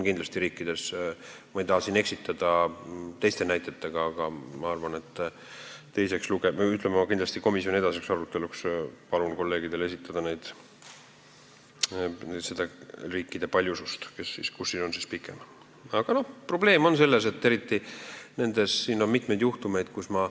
Ma ei taha teid siin eksitada teiste näidetega, aga teiseks lugemiseks või kindlasti komisjoni edasiseks aruteluks ma palun kolleegidel esitada riikide loetelu, kus see tähtaeg on pikem.